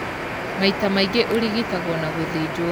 Maita maingĩ ũrigitagwo na gũthĩnjwo.